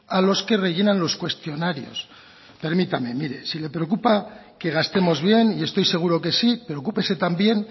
a los que rellenan los cuestionarios permítame mire si le preocupa que gastemos bien y estoy seguro que sí preocúpese también